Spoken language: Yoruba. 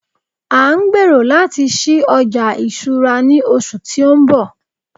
a n gbero lati sí oja ìṣura ni oṣù ti o nbọ